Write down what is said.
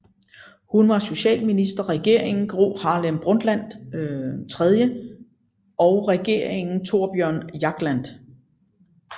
Hun var socialminister Regeringen Gro Harlem Brundtland III og Regeringen Thorbjørn Jagland